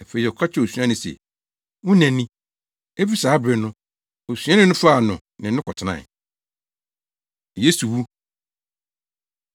Afei ɔka kyerɛɛ osuani no se, “Wo na ni.” Efi saa bere no, osuani no faa no ne no kɔtenae. Yesu Wu